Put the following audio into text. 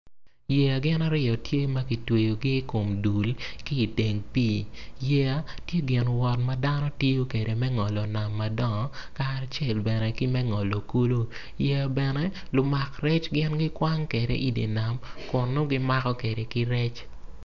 Yeya gin aryo tye ma kitweyogi i kom dul ki i teng pii. Dano tiyo kwede me ngolo nam madongo kacel bene ki me ngolo kulu.